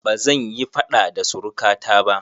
Bazan yi faɗa da suruka ta ba